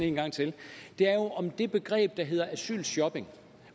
en gang til er jo om det begreb som hedder asylshopping